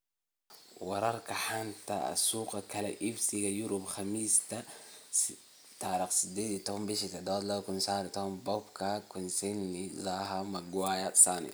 Wararka xanta suuqa kala iibsiga Yurub Khamiista 18.07.2019: Pogba, Koscielny, Zaha, Maguire, Sane